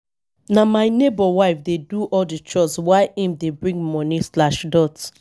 na my nebor wife dey do all di chores while im dey bring moni.